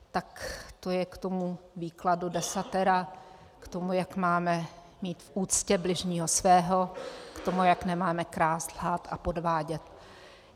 Tak to je k tomu výkladu Desatera, k tomu, jak máme mít v úctě bližního svého, k tomu, jak nemáme krást, lhát a podvádět.